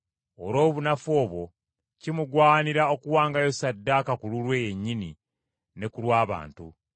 Olw’obunafu obwo, kimugwanira okuwangayo ssaddaaka ku lulwe yennyini ne ku lw’abantu.